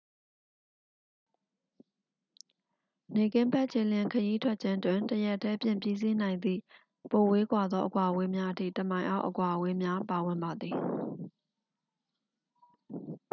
နေ့ခင်းဘက် ခြေလျင်ခရီးထွက်ခြင်းတွင် တစ်ရက်တည်းဖြင့် ပြီးစီးနိုင်သည့် ပိုဝေးကွာသော အကွာအဝေးများအထိ တစ်မိုင်အောက် အကွာအဝေးများ ပါဝင်ပါသည်